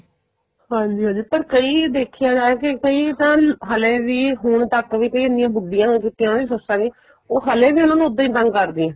ਹਾਂਜੀ ਹਾਂਜੀ ਪਰ ਕਈ ਦੇਖਿਆ ਜਾਏ ਕੇ ਕਈ ਤਾਂ ਹਲੇ ਵੀ ਹੁਣ ਤੱਕ ਵੀ ਕਈ ਇੰਨੀਆਂ ਬੁੱਡੀਆਂ ਹੋ ਚੁੱਕੀਆਂ ਉਹਨਾ ਦੀ ਸੱਸਾ ਵੀ ਉਹ ਹਲੇ ਵੀ ਉਹਨਾ ਨੂੰ ਉੱਦਾਂ ਈ ਤੰਗ ਕਰਦੀਆਂ